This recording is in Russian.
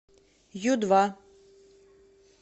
ю два